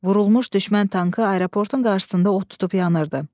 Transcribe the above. Vurulmuş düşmən tankı aeroportun qarşısında od tutub yanırdı.